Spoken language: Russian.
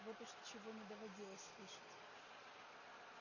вот уж чего не доводилось слышать